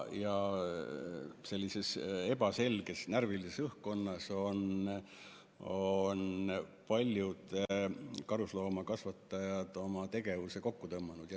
Sellises ebaselges ja närvilises õhkkonnas on paljud karusloomakasvatajad oma tegevuse kokku tõmmanud.